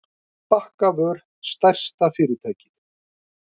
Bakkavör stærsta fyrirtækið